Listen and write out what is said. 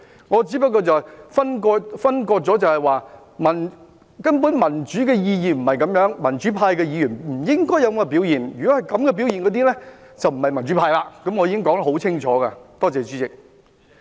我只是作出區分，根本民主的意義不是這樣，民主派的議員不應有這樣的表現；如有這種表現的，便不是民主派，我已經說得很清楚，多謝主席。